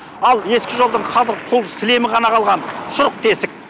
ал ескі жолдың қазір құр сілемі ғана қалған шұрық тесік